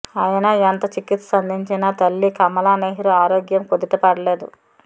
అయినా ఎంత చికిత్స అందించినా తల్లి కమలానెహ్రూ ఆరోగ్యం కుదుటపడలేదు